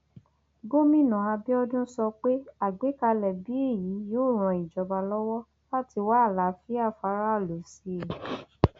gomina abiodun sọ pé àgbékalẹ bíi èyí yóò ran ìjọba lọwọ láti wá àlàáfíà fáráàlú sí i